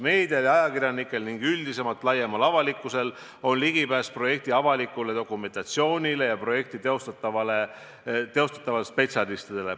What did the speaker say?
Meedial ja ajakirjanikel ning laiemal avalikkusel üldiselt on ligipääs projekti avalikule dokumentatsioonile ja projekti teostavatele spetsialistidele.